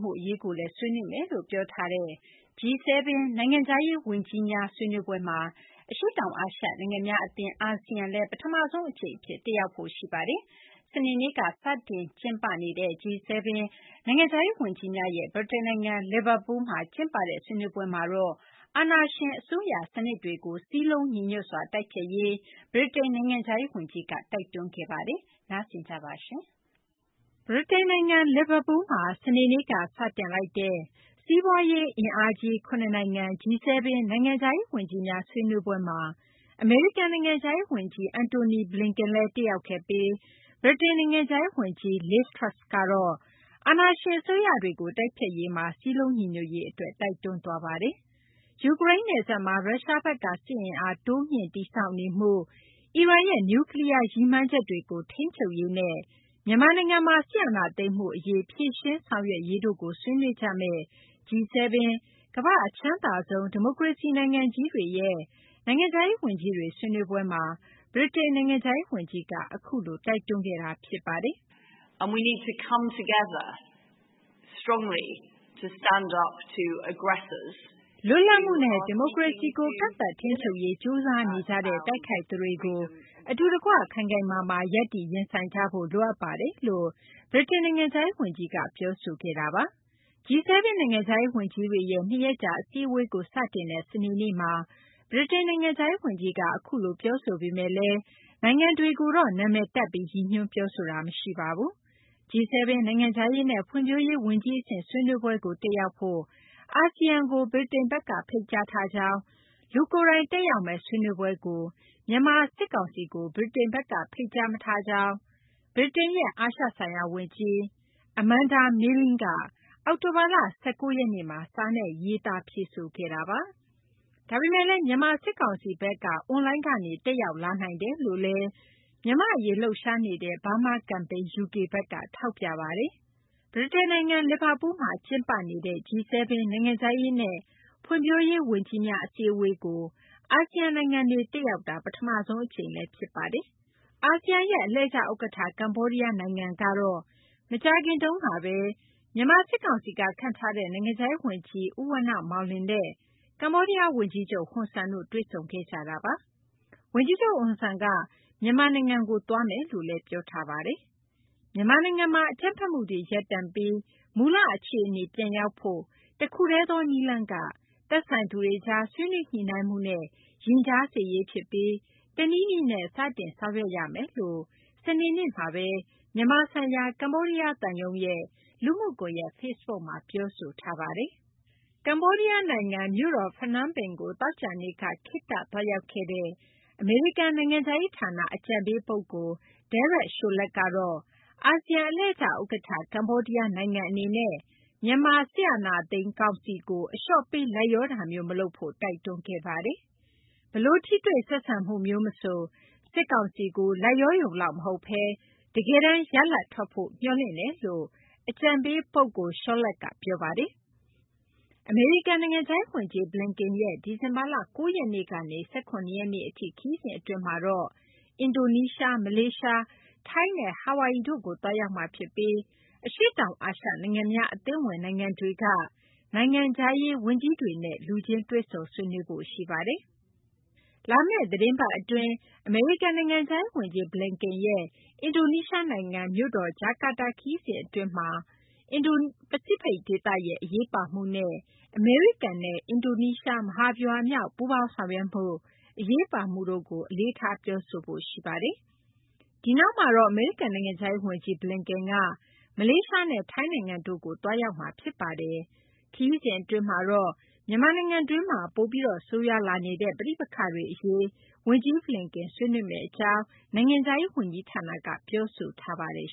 မှု အရေးကိုလည်း ဆွေးနွေးမယ်လို့ ပြောဆိုထားတဲ့ G7 နိုင်ငံခြားရေးဝန်ကြီးများ ဆွေးနွေးပွဲမှာ အရှေ့တောင်အာရှ နိုင်ငံများအသင်း အာဆီယံလည်း ပထမဆုံးအကြိမ်အဖြစ် တက်ရောက်ဖို့ ရှိနေပါတယ်။ စနေနေ့က ကျင်းပတဲ့ G7 နိုင်ငံခြားရေးဝန်ကြီးများရဲ့ ဗြိတိန်နိုင်ငံ လီဗာပူးမှာ ကျင်းပတဲ့ ဆွေးနွေးပွဲမှာတော့ အာဏာရှင်အစိုးရ စနစ်တွေကို စည်းလုံးညီညွတ်စွာ တိုက်ဖျက်ရေး ဗြိတိန် နိုင်ငံခြားရေးဝန်ကြီးက တိုက်တွန်းခဲ့ပါတယ်။ အပြည့်အစုံကို မသိင်္ဂီထိုက် တင်ပြပေးထားပါတယ်။ ဗြိတိန်နိုင်ငံ လီဗာပူးမှာ စနေနေ့က စတင်လိုက်တဲ့ စီးပွားရေးအင်အားကြီး ၇ နိုင်ငံ G7 နိုင်ငံခြားရေးဝန်ကြီးများ ဆွေးနွေးပွဲမှာ အမေရိကန် နိုင်ငံခြားရေးဝန်ကြီး Antony Blinken လည်း တက်ရောက်ခဲ့ပြီး ဗြိတိန် နိုင်ငံခြားရေးဝန်ကြီး Liz Truss ကတော့ အာဏာရှင်အစိုးရ စနစ်တွေကို တိုက်ဖျက်ရေးမှာ စည်းလုံးညီညွတ်ရေးအတွက် တိုက်တွန်းခဲ့ပါတယ်။ ယူကရိန်းနယ်စပ်မှာ ရုရှားဘက်က စစ်အင်အား တိုးမြှင့် တည်ဆောက်နေမှု၊ အီရန်ရဲ့ နျူကလီးယား ရည်မှန်းချက်တွေကို ထိန်းချုပ်ရေးနဲ့ မြန်မာနိုင်ငံမှာ စစ်အာဏာသိမ်းမှုအရေး ဖြေရှင်းဆောင်ရွက်ရေးတို့ကို ဆွေးနွေးကြမယ့် G7 ကမ္ဘာ့အချမ်းသာဆုံး ဒီမိုကရေစီ နိုင်ငံကြီးတွေရဲ့ နိုင်ငံခြားရေးဝန်ကြီးတွေ ဆွေးနွေးပွဲမှာ ဗြိတိန် နိုင်ငံခြားရေးဝန်ကြီးက အခုလို တိုက်တွန်းခဲ့တာ ဖြစ်ပါတယ်။ “လွတ်လပ်မှုနဲ့ ဒီမိုကရေစီကို ကန့်သတ် ထိန်းချုပ်နိုင်ရေး ကြိုးစားနေကြတဲ့ တိုက်ခိုက်သူတွေကို အတူတကွ ခိုင်ခိုင်မာမာ ရပ်တည် ရင်ဆိုင်ကြဖို့ လိုအပ်ပါတယ်။” လို့ ဗြိတိန် နိုင်ငံခြားရေးဝန်ကြီးက ပြောဆိုခဲ့တာပါ။ G7 နိုင်ငံခြားရေးဝန်ကြီးတွေရဲ့ ၂ ရက်ကြာ အစည်းအဝေးကို စတင်တဲ့ စနေနေ့မှာ ဗြိတိန် နိုင်ငံခြားရေးဝန်ကြီးက အခုလို ပြောဆိုပေမယ့်လည်း နိုင်ငံတွေကိုတော့ နာမည်တပ်ပြီး ရည်ညွှန်းပြောဆိုမှု မရှိပါဘူး။ G7 နိုင်ငံခြားရေးနဲ့ ဖွံ့ဖြိုးရေး ဝန်ကြီးအဆင့် ဆွေးနွေးပွဲကို တက်ရောက်ဖို့ အာဆီယံကို ဗြိတိန်ဘက်က ဖိတ်ကြားထားကြောင်း၊ လူကိုယ်တိုင် တက်ရောက်မယ့် ဆွေးနွေးပွဲကို မြန်မာစစ်ကောင်စီကို ဗြိတိန်ဘက်က ဖိတ်ကြားမထားကြောင်း ဗြိတိန်ရဲ့ အာရှဆိုင်ရာဝန်ကြီး Amanda Milling က အောက်တိုဘာလ ၁၉ ရက်နေ့မှာ စာနဲ့ ရေးသား ဖြေဆိုထားပါတယ်။ ဒါပေမယ့်လည်း မြန်မာစစ်ကောင်စီဘက်က အွန်လိုင်းကနေ တက်ရောက်လာနိုင်တယ်လို့လည်း မြန်မာ့အရေး လှုပ်ရှားနေတဲ့ Burma Campaign UK ဘက်က ထောက်ပြ ပြောဆိုထားပါတယ်။ ဗြိတိန်နိုင်ငံ လီဗာပူးမှာ ကျင်းပနေတဲ့ G7 နိုင်ငံခြားရေးနဲ့ ဖွံ့ဖြိုးရေး ဝန်ကြီးများ အစည်းအဝေးကို အာဆီယံနိုင်ငံတွေ တက်ရောက်တာ ပထမဆုံးအကြိမ်လည်း ဖြစ်ပါတယ်။ အာဆီယံရဲ့ အလှည့်ကျဥက္ကဋ္ဌ ကမ္ဘောဒီးယားနိုင်ငံဘက်ကတော့ မကြာခင်ကပဲ မြန်မာစစ်ကောင်စီက ခန့်ထားတဲ့ နိုင်ငံခြားရေးဝန်ကြီး ဦးဝဏ္ဏမောင်လွင်နဲ့ ပြီးခဲ့တဲ့အင်္ဂါနေ့က ကမ္ဘောဒီးယားဝန်ကြီးချုပ် ဟွန်ဆန်နဲ့ တွေ့ဆုံခဲ့ပါတယ်။ ဝန်ကြီးချုပ် ဟွန်ဆန်ကလည်း မြန်မာနိုင်ငံကို သွားမယ်လို့ ပြောထားပါတယ်။ မြန်မာနိုင်ငံမှာ အကြမ်းဖက်မှုတွေ ရပ်တန့်ပြီး မူလအခြေအနေ ပြန်ရောက်ဖို့ တခုတည်းသော နည်းလမ်းမှာ သက်ဆိုင်သူများအကြား ဆွေးနွေးညှိနှိုင်းမှုများနှင့် ရင်ကြားစေ့ရေးဖြစ်ပြီး တနည်းနည်းနဲ့ စတင် ဆောင်ရွက်ရမယ်လို့ စနေနေ့မှာပဲ မြန်မာဆိုင်ရာ ကမ္ဘောဒီးယားသံရုံးရဲ့ လူမှုကွန်ရက် Facebook မှာ ပြောဆိုထားပါတယ်။ ကမ္ဘောဒီးယားနိုင်ငံ၊ ဖနွမ်းပင်မြို့တော်ကို သောကြာနေ့က ခေတ္တသွားရောက်ခဲ့တဲ့ အမေရိကန် နိုင်ငံခြားရေးဌာန အကြံပေးပုဂ္ဂိုလ် Derek Chollet ကတော့ အာဆီယံ အလှည့်ကျဥက္ကဋ္ဌ ကမ္ဘောဒီးယားနိုင်ငံအနေနဲ့ မြန်မာ အာဏာသိမ်းစစ်ကောင်စီကို အလျှော့ပေး လိုက်လျောတာမျိုး မလုပ်ဖို့ တိုက်တွန်းခဲ့ပါတယ်။ ဘယ်လို ထိတွေ့ဆက်ဆံမှုမျိုးမဆို စစ်ကောင်စီကို လိုက်လျောရုံလောက် မဟုတ်ဘဲ တကယ်တမ်း ရလဒ်ထွက်လာဖို့ မျှော်လင့်တယ်လို့ အကြံပေးပုဂ္ဂိုလ် Chollet က ပြောပါတယ်။ အမေရိကန် နိုင်ငံခြားရေးဝန်ကြီး Blinken ရဲ့ ဒီဇင်ဘာလ ၉ ရက်နေ့ကနေ ၁၇ ရက်နေ့အထိ ခရီးစဉ်အတွင်းမှာတော့ အင်ဒိုနီးရှား၊ မလေးရှား၊ ထိုင်းနဲ့ ဟာဝိုင်အီ တို့ကိုလည်း သွားရောက်မှာဖြစ်ပြီး အရှေ့တောင်အာရှနိုင်ငံများ အသင်းဝင် နိုင်ငံတွေက နိုင်ငံခြားရေး ဝန်ကြီးတွေနဲ့လည်း လူချင်းတွေ့ဆုံ ဆွေးနွေးဖို့ ရှိနေပါတယ်။ လာမယ့် သီတင်းပတ်အတွင်း အမေရိကန် နိုင်ငံခြားရေးဝန်ကြီး Blinken ရဲ့ အင်ဒိုနီးရှားနိုင်ငံ မြို့တော် ဂျကာတာခရီးစဉ် အတွင်းမှာလည်း အင်ဒို-ပစိဖိတ် ဒေသရဲ့ အရေးပါမှုနဲ့ အမေရိကန်နဲ့ အင်ဒိုနီးရှား မဟာဗျူဟာမြောက် ပူးပေါင်းဆောင်ရွက်မှု အရေးပါမှုကို အလေးထားပြောဆိုဖို့ ရှိနေပါတယ်။ ဒီနောက်မှာတော့ အမေရိကန် နိုင်ငံခြားရေးဝန်ကြီး Blinken က မလေးရှားနဲ့ ထိုင်းနိုင်ငံတို့ကို သွားရောက်မှာ ဖြစ်ပါတယ်။ ခရီးစဉ်အတွင်းမှာတော့ မြန်မာနိုင်ငံတွင်း ပိုပြီး ဆိုးရွားလာနေတဲ့ ပဋိပက္ခတွေ အရေးကိုလည်း ဝန်ကြီး Blinken ဆွေးနွေးမယ့်အကြောင်း အမေရိကန် နိုင်ငံခြားရေး ဝန်ကြီးဌာနက ပြောဆိုထားပါတယ်